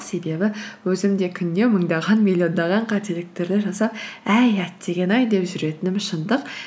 себебі өзім де күнде мыңдаған миллиондаған қателіктерді жасап әй әттеген ай деп жүретінім шындық